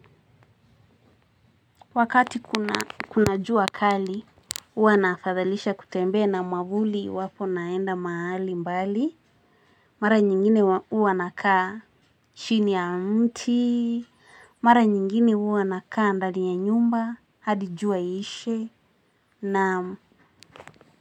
Wakati kuna jua kali huwa nafadhalisha kutembea na mwavuli iwapo naenda mahali mbali. Mara nyingine huwa nakaa chini ya mti. Mara nyingine huwa nakaa ndani ya nyumba hadi jua iishe, naam.